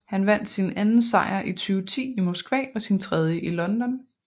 Han vandt sin anden sejr i 2010 i Moskva og sin tredje i London